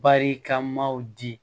Barikamaw di